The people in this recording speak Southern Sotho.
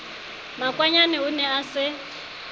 makwanyane o ne a se